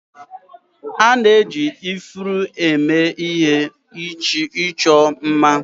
A na-eji ifuru eme ihe ịchọ mma